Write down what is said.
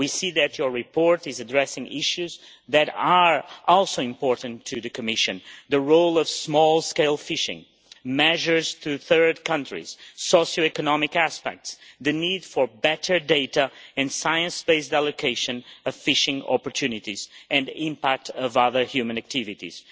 We see that your report is addressing issues that are also important to the Commission the role of small scale fishing, measures for third countries, socio economic aspects, the need for better data and science based allocation of fishing opportunities and impact of other human activities.